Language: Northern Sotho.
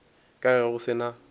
ka ge go se na